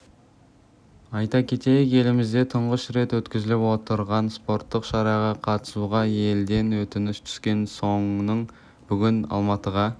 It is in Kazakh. айта кетейік елімізде тұңғыш рет өткізіліп отырған спорттық шараға қатысуға елден өтініш түскен соның бүгін алматыға